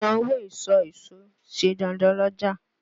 Sísan owó ìsọ̀ èso ṣe dandan l'ọ́ja.